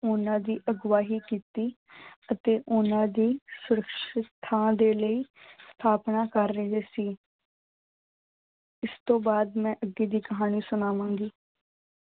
ਉਹਨਾਂ ਦੀ ਅਗਵਾਹੀ ਕੀਤੀ ਅਤੇ ਉਹਨਾਂ ਦੀ ਸਰੱਖਸ਼ਿਤ ਥਾਂ ਦੇ ਲਈ ਸਥਾਪਨਾ ਕਰ ਰਹੇ ਸੀ ਇਸ ਤੋਂ ਬਾਅਦ ਮੈਂ ਅੱਗੇ ਦੀ ਕਹਾਣੀ ਸੁਣਾਵਾਂਗੀ।